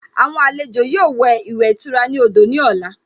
Àwọn àlejò yóò wẹ̀ ìwẹ̀ ìtura ní odò ní ọ̀la